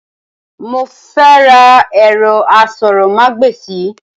Mo fẹ́ ra ẹ̀rọ asọ̀rọ̀mágbèsì.